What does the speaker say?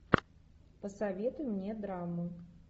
посоветуй мне драму